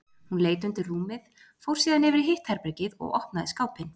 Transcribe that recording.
Hún leit undir rúmið, fór síðan yfir í hitt herbergið og opnaði skápinn.